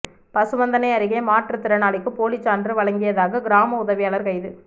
பசுவந்தனை அருகே மாற்றுத் திறனாளிக்கு போலி சான்று வழங்கியதாக கிராம உதவியாளா் கைது